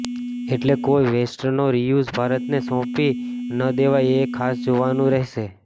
એટલે કોઈ વેસ્ટનો રીયુઝ ભારતને સોંપી ન દેવાય એ ખાસ જોવાનું રહેશે